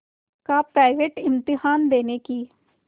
का प्राइवेट इम्तहान देने की